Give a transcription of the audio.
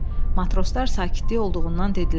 Matroslar sakitlik olduğundan dedilər.